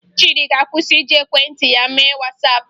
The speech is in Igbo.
Chiịdị ga-akwụsị iji ekwentị ya mee Wasaapụ